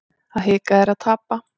Að hika er að tapa